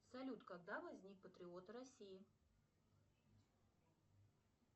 салют когда возник патриот россии